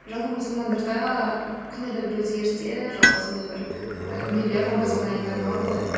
жалпы мұсылмандарда қандай да бір өзгерістер жалпы сондай бір ііі дүниелер рамазан айында болады ғой